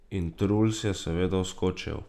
In Truls je seveda vskočil.